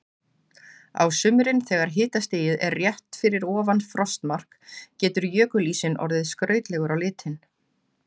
Á sumrin þegar hitastigið er rétt fyrir ofan frostmark, getur jökulísinn orðið skrautlegur á litinn.